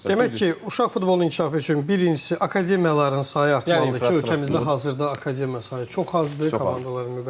Birinci uşaq futbolunun inkişafı üçün birincisi akademiyaların sayı artmalıdır ki, ölkəmizdə hazırda akademiyanın sayı çox azdır, komandaların müqayisəsində.